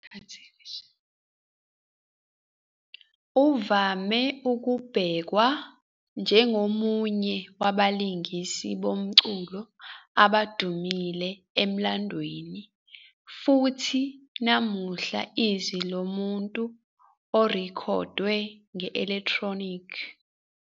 Uvame ukubhekwa njengomunye wabalingisi bomculo abadumile emlandweni futhi namuhla Izwi lomuntu orekhodwe nge-elekthronikhi.